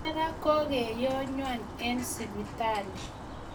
Ara kokeyonwa eng sipitali